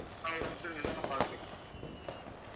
ஆஹ் ஒரு நிமிஷம் இருங்க sir நான் பாத்து சொல்றேன்